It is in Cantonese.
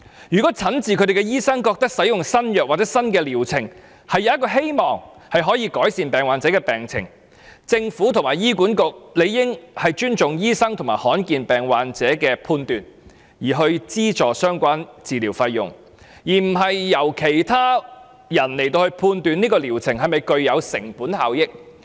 如果診治他們的醫生認為使用新藥物或新療程，有希望改善病患者的病情，政府和醫管局理應尊重醫生和罕見疾病患者的判斷，資助相關治療費用，而不是由其他人判斷這個療程是否具有成本效益。